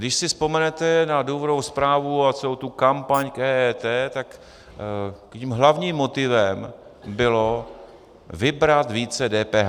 Když si vzpomenete na důvodovou zprávu a celou tu kampaň k EET, tak tím hlavním motivem bylo vybrat více DPH.